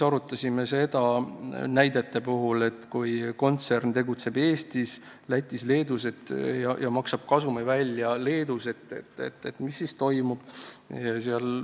Arutasime näidete põhjal seda, et kui kontsern tegutseb Eestis, Lätis ja Leedus ja maksab kasumi välja Leedus, mis siis toimub.